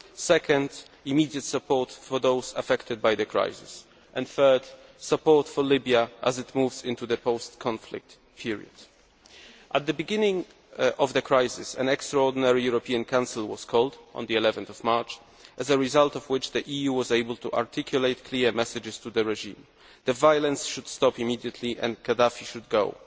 second, immediate support for those affected by the crisis and third, support for Libya as it moves into the post conflict period. At the beginning of the crisis an Extraordinary European Council was called, on 11 March, as a result of which the EU was able to articulate clear messages to the regime the violence should stop immediately and Gaddafi should go.